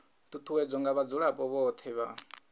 ṱuṱuwedzwa nga vhadzulapo vhothe vha